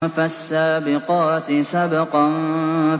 فَالسَّابِقَاتِ سَبْقًا